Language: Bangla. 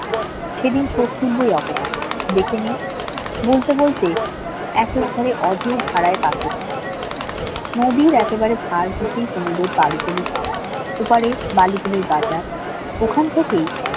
সেদিন শোধ তুলব এই অপমানের দেখে নিও বলতে বলতে নদীর একেবারে ওপারে বাজার ওখান থেকে